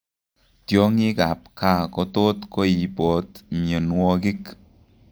Tiongik ab kaa kotot koibot mionwogik